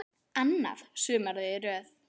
Annað sumarið í röð.